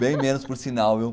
Bem menos por sinal, viu?